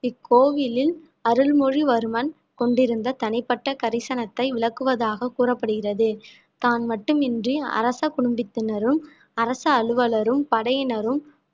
இக்கோவிலில் அருள்மொழிவர்மன் கொண்டிருந்த தனிப்பட்ட கரிசனத்தை விளக்குவதாக கூறப்படுகிறது தான் மட்டுமின்றி அரச குடும்பத்தினரும் அரசு அலுவலரும் படையினரும்